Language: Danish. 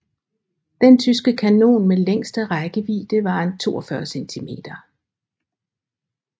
Den tyske kanon med længste rækkevidde var en 42 cm